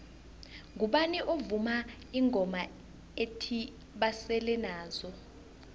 ngubani ovuma ingoma ethi basele nazo